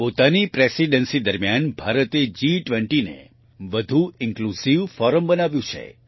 પોતાની પ્રેસિડેન્સી દરમિયાન ભારતે G20 ને વધુ ઇન્ક્લુઝિવ ફોરમ બનાવ્યું છે